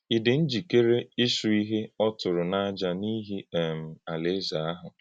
Ị̀ dị njíkèrè íchù ihe ọ̀tụ̀rụ̀ n’àjà n’íhì um Alaeze ahụ?